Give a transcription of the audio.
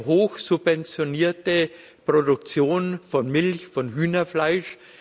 eine hochsubventionierte Produktion von Milch und Hühnerfleisch.